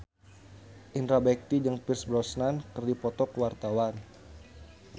Indra Bekti jeung Pierce Brosnan keur dipoto ku wartawan